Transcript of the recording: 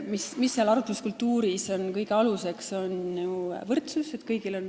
Mis on arutluskultuuris kõige aluseks?